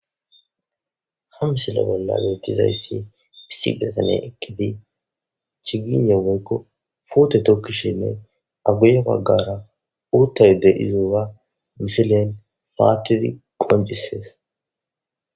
ha misile bolla meetizayssi issigesane ekkidi chiginye weykko puute tokki sheney aguye paggara uuttayde izowa misilen paattidi qoncisees